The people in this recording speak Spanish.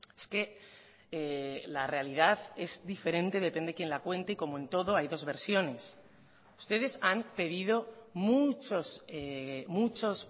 es que la realidad es diferente depende quién la cuente y como en todo hay dos versiones ustedes han pedido muchos muchos